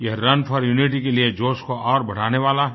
यह run for unity के लिए जोश को और बढ़ाने वाला है